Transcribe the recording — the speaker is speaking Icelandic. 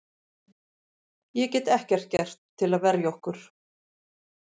Ég get ekkert gert til að verja okkur.